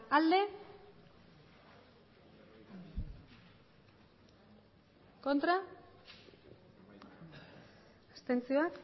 emandako botoak hirurogeita hamairu